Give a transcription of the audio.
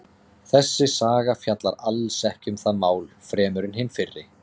Þessi saga fjallar alls ekki um það mál fremur en hin fyrri.